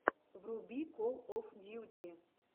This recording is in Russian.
вруби кол оф дьюти